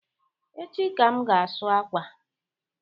Echi ka m ga asụ akwa